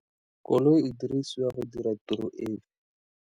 Koloi e dirisiwa go dira tiro efe.